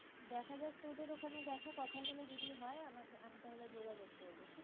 দেখাযাক, তোদের ওখানে দেখো কথা বলে যদি হয় আমাকে আমি তাহলে যোগাযোগ করবো ঠিকাছে?